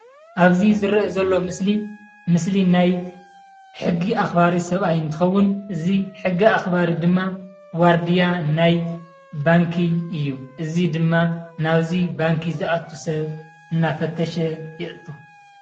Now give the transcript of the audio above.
አብዚ ዝርእ ዘሎ ምስሊ ምስሊ ናይ ሕጊ አክበርቲ ስባት እንትክውን እዚ ሕጊ አክባሪ ድማ ዋርድያ ናይ ባንኪ እዩ። እዚ ድማ ናብዚ ባንኪ ዝአቱ ስብ እናፈተሽ የእቱ።